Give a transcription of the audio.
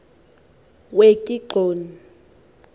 wekigxoni